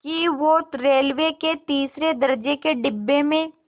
कि वो रेलवे के तीसरे दर्ज़े के डिब्बे में